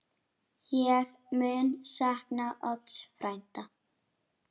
Ég mun sakna Odds frænda.